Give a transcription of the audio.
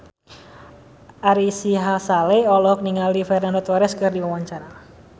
Ari Sihasale olohok ningali Fernando Torres keur diwawancara